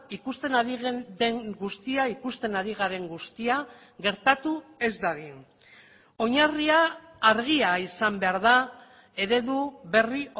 ikusten ari den guztia ikusten ari garen guztia gertatu ez dadin oinarria argia izan behar da eredu berri